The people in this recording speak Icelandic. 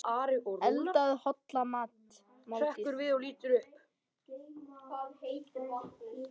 Eldaðu holla máltíð.